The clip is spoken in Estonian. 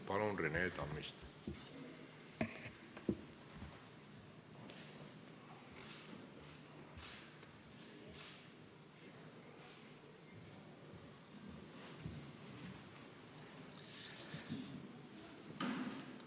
Palun, Rene Tammist!